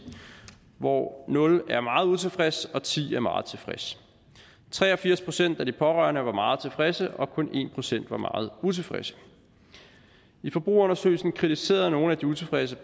hvor nul er meget utilfreds og ti er meget tilfreds tre og firs procent af de pårørende var meget tilfredse og kun en procent var meget utilfredse i forbrugerundersøgelsen kritiserede nogle af de utilfredse